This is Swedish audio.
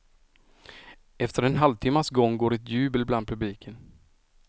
Efter en halvtimmas gång går ett jubel bland publiken.